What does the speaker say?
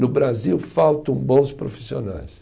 No Brasil, faltam bons profissionais.